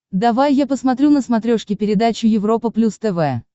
давай я посмотрю на смотрешке передачу европа плюс тв